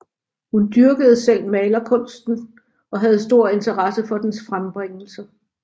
Hun dyrkede selv malerkunsten og havde stor interesse for dens frembringelser